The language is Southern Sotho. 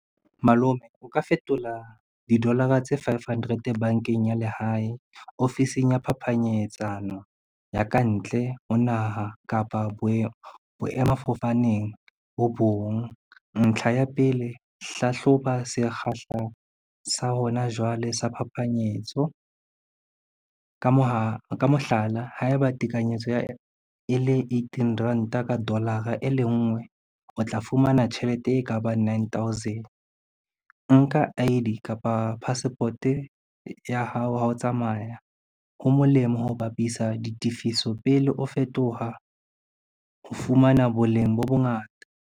Malome o ka fetola didolara tse five hundred bankeng ya lehae ofising ya phapanyetsano ya kantle ho naha kapa boemafofaneng bo bong. Ntlha ya pele, hlahloba se kgahlang sa hona jwale sa phapanyetso. Ka mohlala, ha eba tekanyetso e le eighteen ranta ka dolara e le nngwe, o tla fumana tjhelete e kabang nine thousand. Nka I_D kapa passport ya hao, ha o tsamaya ho molemo ho bapisa ditifiso pele o fetoha ho fumana boleng bo bongata.